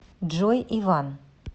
джой иван